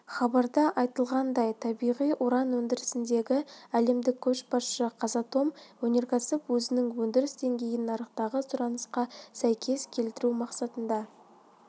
хабарда айтылғандай табиғи уран өндірісіндегі әлемдік көшбасшы қазатом өнеркәсіп өзінің өндіріс деңгейін нарықтағы сұранысқа сәйкес келтіру мақсатында